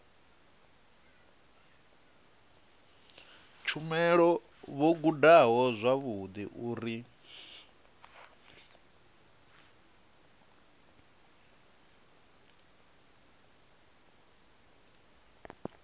tshumelo vho gudaho zwavhudi uri